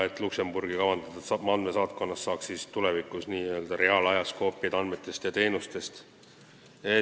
Luksemburgi kavandatud andmesaatkonnas saaks tulevikus n-ö reaalajas koopiaid andmetest ja teenustest.